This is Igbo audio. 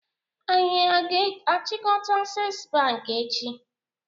Anyi a ga-achikota Access Bank echi?